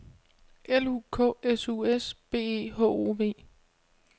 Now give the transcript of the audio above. L U K S U S B E H O V